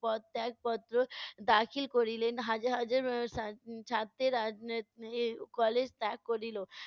পদত্যাগ পত্র দাখিল করিলেন। হাজার হাজার এর ছা~ ছাত্রেরা এর এ~ college ত্যাগ করিল